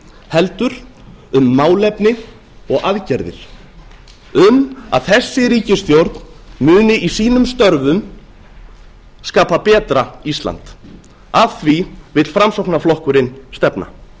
heldur um málefni og aðgerðir um að þessi ríkisstjórn muni í sínum stöfum skapa betra ísland að því vill framsóknarflokkurinn stefna